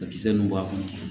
A kisɛ ninnu b'a kɔnɔ